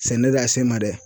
Sɛnɛ de y'a se n ma dɛ